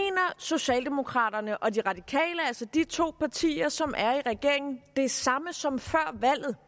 socialdemokraterne og de radikale altså de to partier som er i regering det samme som før valget